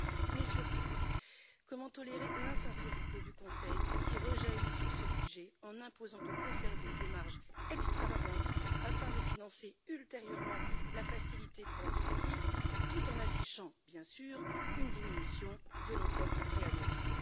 Mais surtout, comment tolérer l'insincérité du Conseil, qui rejaillit sur ce budget en imposant de conserver des marges extravagantes afin de financer ultérieurement la facilité pour la Turquie tout en affichant, bien sûr, une diminution de l'enveloppe de préadhésion.